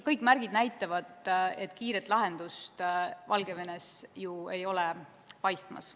Kõik märgid näitavad, et kiiret lahendust Valgevenes paistmas ei ole.